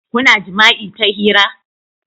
Kuna jima'i ta hira?